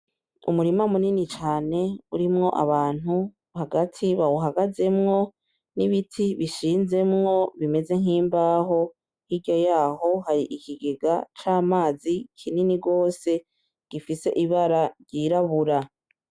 Umurima munini cane urimwo abantu hagati bawuhagazemwo n'ibiti bishinzemwo bimeze nk'imbaho, hirya yaho hari ikigega c'amazi kinini gose gifise ibara ry'irabura.